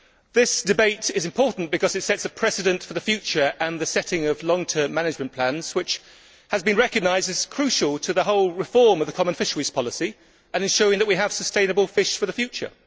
This debate is important because it sets a precedent for the future, for the setting of long term management plans which has been recognised as crucial to the whole reform of the common fisheries policy and showing that we have sustainable fish for the future.